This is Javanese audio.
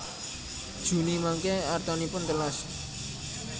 Juni mangke artanipun telas